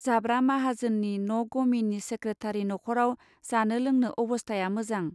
जाब्रा माहाजोननि न गमिनि सेक्रेथारि नखराव जानो लोंनो अबस्थाया मोजां.